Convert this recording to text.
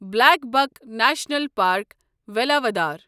Blackbuck national park Velavadar